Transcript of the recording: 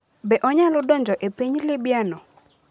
Be onyalo donjo e piny libya no?